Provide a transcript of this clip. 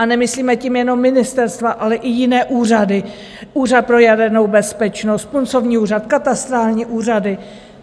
A nemyslíme tím jenom ministerstva, ale i jiné úřady, Úřad pro jadernou bezpečnost, Puncovní úřad, katastrální úřady.